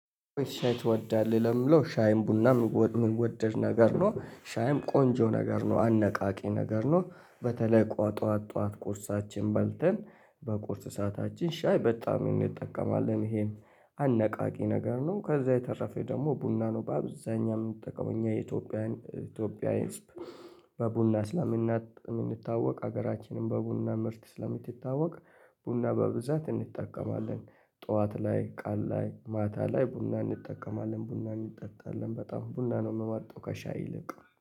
ሻይ ትወዳለህ ለምለው ሻይም ቡና የምወደድ ነገር ነው ሻይም ቆንጆ ነገር ነው አነቃቂ ነገር ነው። በተለይ ቋጧት ጧት ቁርሳችን በልተን በቁርስ ሰዓታችን ሻይ በጣም እንጠቀማለን ይሄን አነቃቂ ነገር ነው። ከዛ የተረፈ ደግሞ ቡና ነው በአብዛኛው የምንጠቀመው እኛ የኢትዮጵያዊያን ኢትዮጵያዊ በቡና ስለምንታወቅ ሀገራችንን በቡና ምርት ስለምትታወቅ ቡና በብዛት እንጠቀማለን። ጠዋት ላይ ቀን ላይ ማታ ላይ ቡና እንጠቀማለን ቡና እንጠጣለን በጣም ቡና ነው የምመርጠው። ከሻይ ይልቅ